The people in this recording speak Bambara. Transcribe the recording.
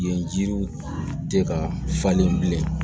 Yen jiriw tɛ ka falen bilen